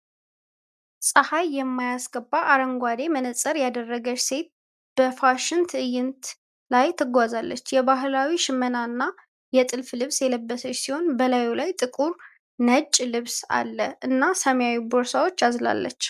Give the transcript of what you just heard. ፀሐይ የማያስገባ አረንጓዴ መነፅር ያደረገች ሴት በፋሽን ትዕይንት ላይ ትጓዛለች። የባህላዊ ሽመናና የጥልፍ ልብስ የለበሰች ሲሆን፣ በላዩ ላይ ጥቁር፣ ነጭ ልብስ አለ እና ሰማያዊ ቦርሳ አዝላለች።